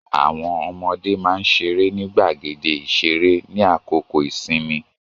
Àwọn ọmọdé máà ń ṣeré ni gbàgéde ìṣeré ní àkókò ìsinmi